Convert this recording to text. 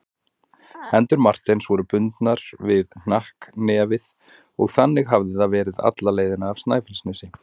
Hendur Marteins voru bundnar við hnakknefið og þannig hafði það verið alla leiðina af Snæfellsnesi.